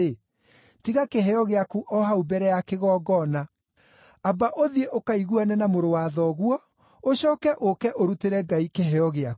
tiga kĩheo gĩaku o hau mbere ya kĩgongona. Amba ũthiĩ ũkaiguane na mũrũ wa thoguo; ũcooke ũũke ũrutĩre Ngai kĩheo gĩaku.